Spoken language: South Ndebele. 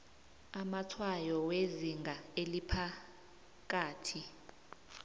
amatshwayo wezinga eliphakathi